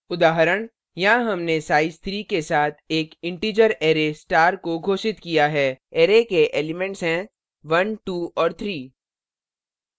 उदाहरण यहाँ हमने size 3 के साथ एक इन्टिजर array star को घोषित किया है array के elements हैं 12 और 3